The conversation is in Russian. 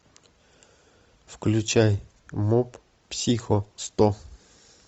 включай моб психо сто